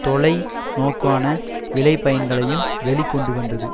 தொலை நோக்கான விளை பயன்களையும் வெளி கொண்டு வந்தது